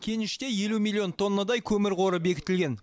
кеніште елу миллион тоннадай көмір қоры бекітілген